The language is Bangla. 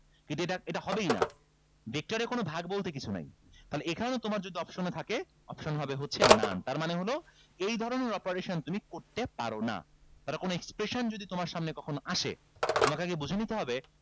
এটা এটা হবেই না vector এ কোন ভাগ বলতে কিছু নাই তাহলে এখানেও তোমার যদি option এ থাকে option হচ্ছে হবে none তার মানে হলো এই ধরনের operation তুমি করতে পারো না তাহলে কোন expression যদি তোমার সামনে কখনো আসে তোমাকে আগে বুঝে নিতে হবে